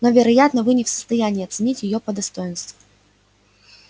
но вероятно вы не в состоянии оценить её по достоинству